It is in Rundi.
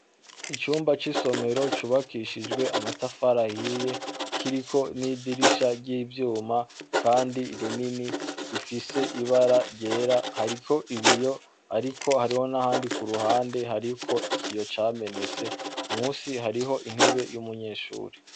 Icumba c'isomero cubakishijwe amatafari ahiye kiriko n'idirisha ry'ivyuma kandi rinini rifise ibara ryera, hariko ibiyo ariko hariho n'ahandi ku ruhande hariko ikiyo camenetse, musi hariho intebe y'umunyeshure.